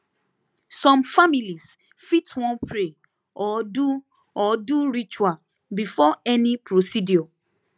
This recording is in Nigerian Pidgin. some families fit wan pray or do or do ritual before any procedure